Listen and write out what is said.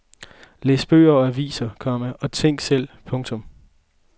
Læs bøger og aviser, komma og tænk selv. punktum